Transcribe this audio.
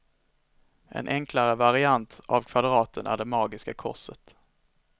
En enklare variant av kvadraten är det magiska korset.